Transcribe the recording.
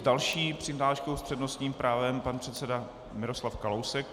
S další přihláškou s přednostním právem pan předseda Miroslav Kalousek.